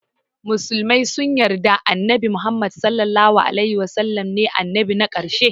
Musulmai sun yarda annabi muhammed (SAW) ne annabi na karshe